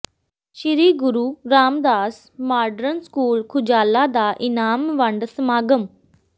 ਸ੍ਰੀ Guru Ramdas modern school Khujala ਦਾ ਇਨਾਮ ਵੰਡ ਸਮਾਗਮ